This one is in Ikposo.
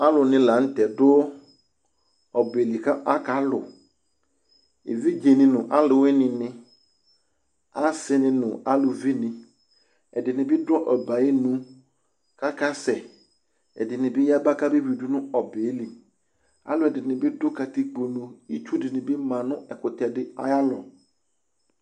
Aalʋni lanʋ tɛɛ dʋ ɔbɛli k'akalʋ, evidzeni nʋ aalʋwuinini, aasi nʋ aalʋvini, Ɛɖinibi ɖʋ ɔbɛyɛ ayinʋ k'akasɛƐɖinibi yaba k'abewuiɖʋ nʋ ɔbɛyɛliAalʋɛɖinibi ɖʋ katikponu, itsuɖinibi ma nʋ ɛkutɛɖi ayallɔ